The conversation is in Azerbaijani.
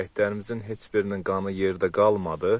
Şəhidlərimizin heç birinin qanı yerdə qalmadı.